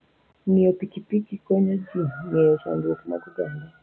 Ng'iyo pikipiki konyo ji ng'eyo chandruoge mag oganda.